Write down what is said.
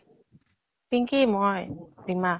পিঙ্কি, মই ৰিমা